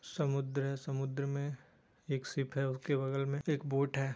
समुद्र है| समुद्र में एक शिप है| उसके बगल में एक बोट है।